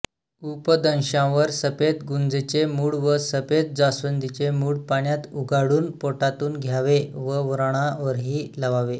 उपदंशावर सफेद गुंजेचे मुळ व सफेद जास्वंदीचे मुळ पाण्यात उगाळून पोटातून घ्यावे व व्रणावरही लावावे